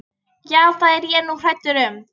Já, það er ég nú hræddur um.